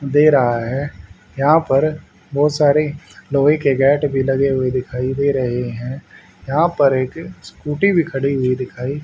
दे रहा है यहां पर बहोत सारे लोहे के गेट भी लगे हुए दिखाई दे रहे हैं यहां पर एक स्कूटी भी खड़ी हुई दिखाई--